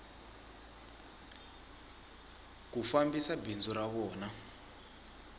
ku fambisa bindzu ra vona